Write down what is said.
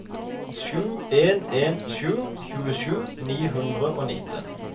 sju en en sju tjuesju ni hundre og nitten